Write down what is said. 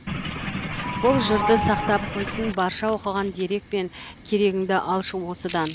бұл жырды сақтап қойсын барша оқыған дерек пен керегіңді алшы осыдан